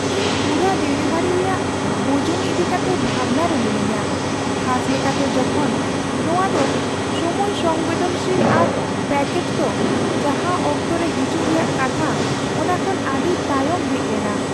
ᱤᱧ ᱯᱩᱨᱟᱹ ᱰᱮᱞᱤᱵᱷᱟᱨᱤ ᱨᱮᱭᱟᱜ ᱵᱩᱡᱩᱱ ᱤᱫᱤ ᱠᱟᱛᱮ ᱵᱷᱟᱵᱽᱱᱟ ᱨᱮ ᱢᱤᱱᱟᱧᱟ, ᱠᱷᱟᱥ ᱞᱮᱠᱟᱛᱮ ᱡᱚᱠᱷᱚᱱ ᱱᱚᱶᱟ ᱫᱚ ᱥᱚᱢᱚᱭᱼᱥᱚᱝᱵᱮᱫᱚᱱᱥᱤᱞ ᱟᱨ ᱯᱮᱹᱠᱮᱡᱽ ᱫᱚ ᱡᱟᱦᱟᱸ ᱚᱠᱛᱚ ᱨᱮ ᱦᱤᱡᱩᱜ ᱨᱮᱭᱟᱜ ᱠᱟᱛᱷᱟ ᱚᱱᱟ ᱠᱷᱚᱱ ᱟᱹᱰᱤ ᱛᱟᱭᱚᱢ ᱦᱮᱡ ᱞᱮᱱᱟ ᱾